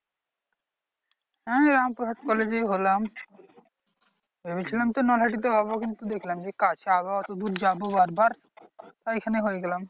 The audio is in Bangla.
হ্যাঁ রামপুরহাট কলেজেই হলাম। ভেবেছিলাম তো নাকাশিতে হবো কিন্তু দেখলাম যে কাছে আবার অতদূর যাবো বার বার তাই এইখানেই হয়ে গেলাম।